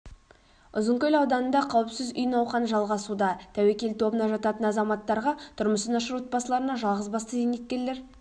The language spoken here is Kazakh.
ұзынкөл ауданында қауіпсіз үй науқаны жалғасуда тәуекел тобына жататын азаматтарға тұрмысы нашар отбасыларына жалғыз басты зейнеткерлер